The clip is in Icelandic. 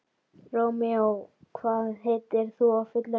Rómeó, hvað heitir þú fullu nafni?